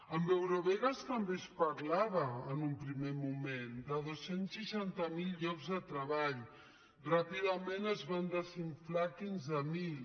amb eurovegas també es parlava en un primer moment de dos cents i seixanta miler llocs de treball ràpidament es van desinflar a quinze mil